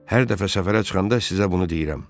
Hər dəfə səfərə çıxanda sizə bunu deyirəm.